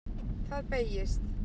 Það beygist: